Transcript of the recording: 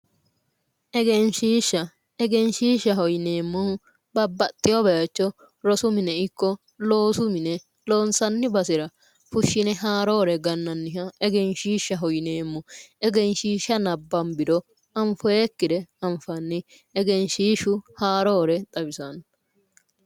Egenshiishsha:-egenshiishshaho yineemmohu babaxewo bayicho rosu mine ikko loossu mine loonsaanni basera fushshine gananniha -egenshiishshaho yineemmo eganshiishsha nabanbbiro anfoyikkire anfanni egenshiishshu haroore xawisanno